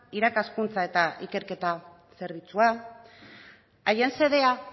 irakaskuntza eta ikerketa zerbitzua haien xedea